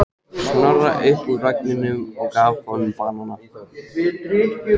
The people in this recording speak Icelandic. Snorra upp úr vagninum og gaf honum banana.